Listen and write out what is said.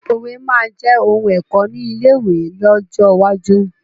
Òwe máa jẹ òun ẹ̀kọ́ ni ilé ìwé lọ́jọ́ iwájú